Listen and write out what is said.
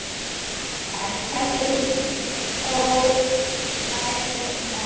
En eftir þóf lærðu menn.